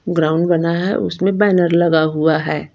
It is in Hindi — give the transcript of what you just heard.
ग्राउंड बना है उसमें बैनर लगा हुआ है।